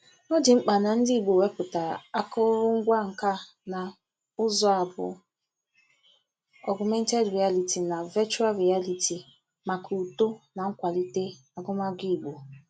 Ọ dị mkpa na ndị Igbo wepụtara akụrụngwa nka na ụzụ a bụ Ọgụmented Rịaliti na Vechụal Rịaliti maka uto na nkwalite agụmagụ Igbo.